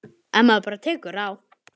Ef maður bara tekur á.